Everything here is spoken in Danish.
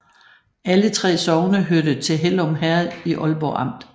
Alle 3 sogne hørte til Hellum Herred i Ålborg Amt